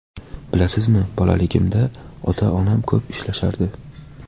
Bilasizmi, bolaligimda ota-onam ko‘p ishlashardi.